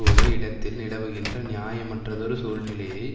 ஒரு இடத்தில் நிலவுகின்ற நியாயமற்றதொரு சூழ்நிலையை